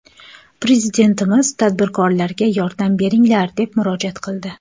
Prezidentimiz tadbirkorlarga ‘yordam beringlar’, deb murojaat qildi.